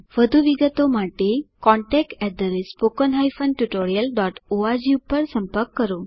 વધુ વિગતો માટે contactspoken tutorialorg પર સંપર્ક કરો